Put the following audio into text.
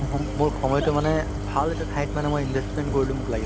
মোৰ সময়তো মানে ভাল এটা ঠাইত মানে মই investment কৰিলো মোক লাগিলে